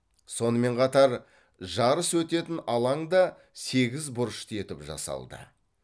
сонымен қатар жарыс өтетін алаң да сегізбұрышты етіп жасалды